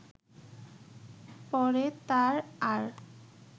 পরে তার আর